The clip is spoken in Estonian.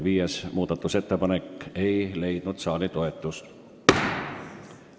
Viies ettepanek ei leidnud saali toetust.